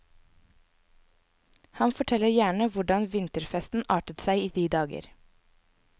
Han forteller gjerne hvordan vinterfesten artet seg i de dager.